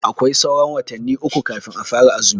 Aƙwai sauran watanni uƙu kafin a fara azumi.